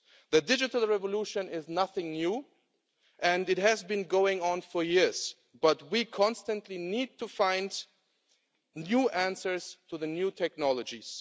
The digital revolution is nothing new, and it has been going on for years, but we constantly need to find new answers to the new technologies.